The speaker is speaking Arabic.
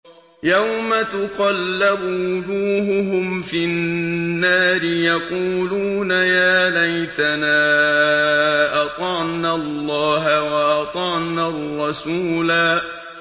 يَوْمَ تُقَلَّبُ وُجُوهُهُمْ فِي النَّارِ يَقُولُونَ يَا لَيْتَنَا أَطَعْنَا اللَّهَ وَأَطَعْنَا الرَّسُولَا